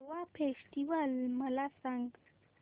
Goa festival मला सांग